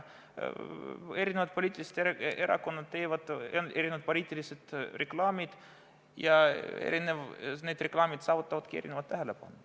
Erinevad poliitilised erakonnad teevad erinevat poliitilist reklaami ja need reklaamid saavutavadki erinevat tähelepanu.